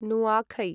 नुआखै